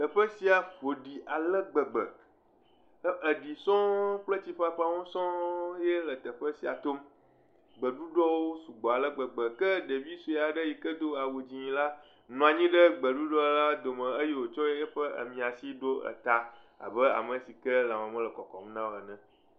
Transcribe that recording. Teƒe sia ƒo ɖi ale gbegbe. Eɖi sɔŋ kple tsiƒaƒawo sɔŋ yee le teƒe sia tom. Gbeɖuɖɔwo sugbɔ ale gbegbe. Ke ɖevi sue aɖe yi ke do awu dzẽ la, nɔ anyi ɖe gbeɖuɖɔla dome eye wòtsɔ eƒe miãsi ɖo eta abe ame si ke lãme mele kɔkɔm na o ene.